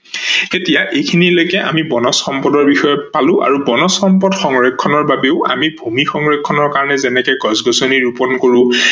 এতিয়া এইখিনি লেকে আমি বনজ সম্পদৰ বিষয়ে পালো আৰু বনজ সম্পদৰ সংৰক্ষনৰ বাবেও আমি ভূমি সংৰক্ষনৰ কাৰনে যেনেকে গছ-গছনি ৰুপন কৰো